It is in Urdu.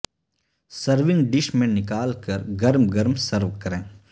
سرونگ ڈش میں نکال کر گرم گرم سرو کریں